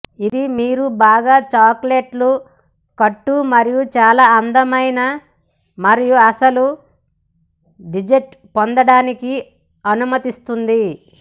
ఇది మీరు బాగా చాక్లెట్లు కట్టు మరియు చాలా అందమైన మరియు అసలు డెజర్ట్ పొందడానికి అనుమతిస్తుంది